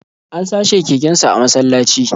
An sace kekensa a masallaci